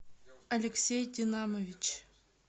алексей динамович